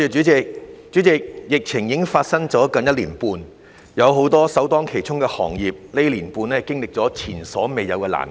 主席，疫情已發生接近1年半，很多首當其衝的行業在這段時間經歷了前所未有的難關。